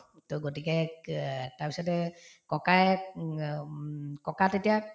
to গতিকে তাৰপিছতে ককায়ে উম অ উম ককা তেতিয়া